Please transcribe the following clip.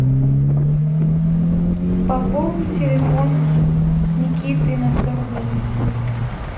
пополни телефон никиты на сто рублей